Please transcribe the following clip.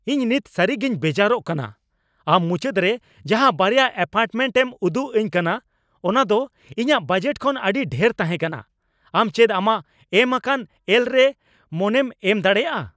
ᱤᱧ ᱱᱤᱛ ᱥᱟᱹᱨᱤᱜᱤᱧ ᱵᱮᱡᱟᱨᱚᱜ ᱠᱟᱱᱟ ᱾ᱟᱢ ᱢᱩᱪᱟᱹᱫ ᱨᱮ ᱡᱟᱦᱟᱸ ᱵᱟᱨᱭᱟ ᱮᱹᱯᱟᱨᱴᱢᱮᱱᱴ ᱮᱢ ᱩᱫᱩᱜ ᱟᱹᱧ ᱠᱟᱱᱟ ᱚᱱᱟ ᱫᱚ ᱤᱧᱟᱹᱜ ᱵᱟᱡᱮᱴ ᱠᱷᱚᱱ ᱟᱹᱰᱤ ᱰᱷᱮᱨ ᱛᱟᱦᱮᱸ ᱠᱟᱱᱟ ᱾ᱟᱢ ᱪᱮᱫ ᱟᱢᱟᱜ ᱮᱢ ᱟᱠᱟᱱ ᱮᱞ ᱨᱮ ᱢᱚᱱᱮᱢ ᱮᱢ ᱫᱟᱲᱮᱭᱟᱜᱼᱟ ?